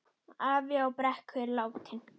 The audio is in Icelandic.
Afi á Brekku er látinn.